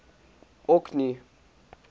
orkney